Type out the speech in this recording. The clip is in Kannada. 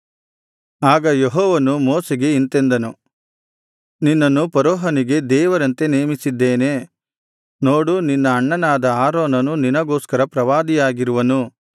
ಆಗ ಯೆಹೋವನು ಮೋಶೆಗೆ ಇಂತೆಂದನು ನಿನ್ನನ್ನು ಫರೋಹನಿಗೆ ದೇವರಂತೆ ನೇಮಿಸಿದ್ದೇನೆ ನೋಡು ನಿನ್ನ ಅಣ್ಣನಾದ ಆರೋನನು ನಿನಗೋಸ್ಕರ ಪ್ರವಾದಿಯಾಗಿರುವನು